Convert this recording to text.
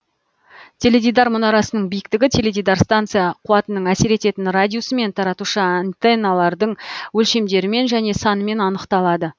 теледидар мұнарасының биіктігі теледидар станция қуатының әсер ететін радиусымен таратушы антенналардың өлшемдерімен және санымен анықталады